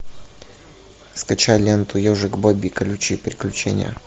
скачай ленту ежик бобби колючие приключения